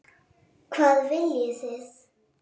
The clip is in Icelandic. Hvað viljið þið!